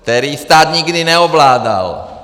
Který stát nikdy neovládal.